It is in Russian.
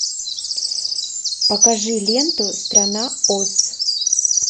покажи ленту страна оз